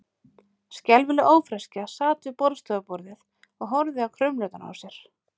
Skelfileg ófreskja sat við borðstofuborðið og horfði á krumlurnar á sér.